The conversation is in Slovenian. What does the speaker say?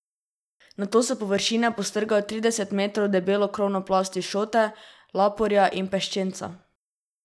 Nato s površine postrgajo trideset metrov debelo krovno plast iz šote, laporja in peščenca.